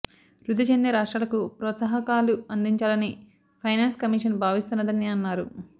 వృద్ధి చెందే రాష్ట్రాలకు ప్రోత్సాహకాలు అందిచాలని ఫైనాన్స్ కమిషన్ భావిస్తున్నదని అన్నారు